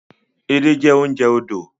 Edé jẹ́ oúnjẹ odò